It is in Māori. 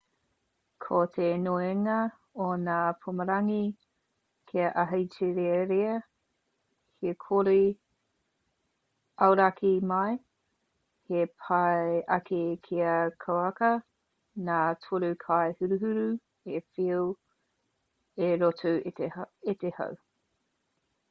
ko te nuinga o ngā pumarangi kei ahitereiria he kore auraki mai he pai ake kia kauaka ngā torekaihuruhuru e whiu i roto i te hau